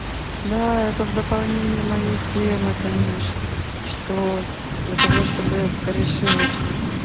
да это в дополнение моей темы таня что для того чтобы решилась